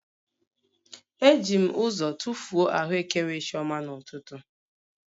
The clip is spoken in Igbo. Eji m ụzọ tụfuo ahụekere chioma n'ụtụtụ